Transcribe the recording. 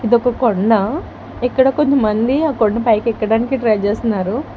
ఇదొక కొండ ఇక్కడ కొంతమంది ఆ కొండపైకి ఎక్కడానికి ట్రై చేస్తున్నారు.